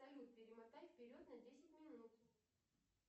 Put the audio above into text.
салют перемотай вперед на десять минут